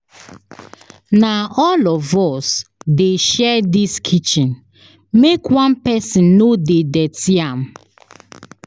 Na all of us dey share dis kitchen make one pesin no dey dirty am.